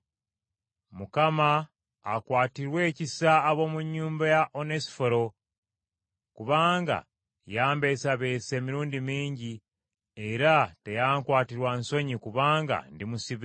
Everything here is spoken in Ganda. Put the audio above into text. Mukama akwatirwe ekisa ab’omu nnyumba ya Onesifolo, kubanga yambeesabeesa emirundi mingi era teyankwatirwa nsonyi kubanga ndi musibe;